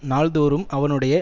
நாள்தோறும் அவனுடைய